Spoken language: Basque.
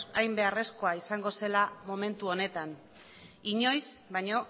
hain beharrezkoa izango zela momentu honetan inoiz baino